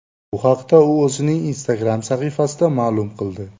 Bu haqda u o‘zining Instagram sahifasida ma’lum qildi.